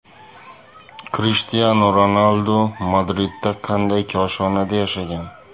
Krishtianu Ronaldu Madridda qanday koshonada yashagan?